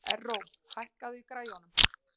Erró, hækkaðu í græjunum.